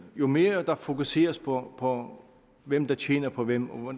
jo mere der fokuseres på hvem der tjener på hvem og